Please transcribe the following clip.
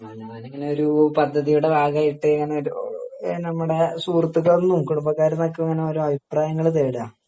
ഞാനിങ്ങനെ ഒരു പദ്ധതിയുടെ ഭാഗായിട്ട് ഇങ്ങനെ ഒരു നമ്മുടെ സുഹൃത്തുക്കളിൽന്നും കുടുംബക്കാരിൽന്നും ഒക്കെ ഇങ്ങനെ ഓരോ അഭിപ്രായങ്ങൾ തേടാ